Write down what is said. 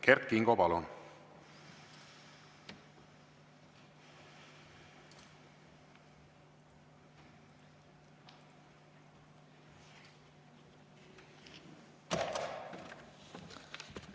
Kert Kingo, palun!